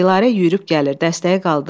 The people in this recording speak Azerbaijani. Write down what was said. Dilarə yüyürüb gəlir, dəstəyi qaldırır.